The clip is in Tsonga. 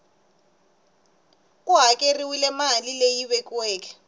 ku hakeriwile mali leyi vekiweke